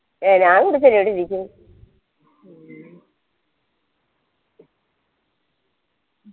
A ഞാൻ കുടിച്ചന് ഇടിരിക്കുന്നു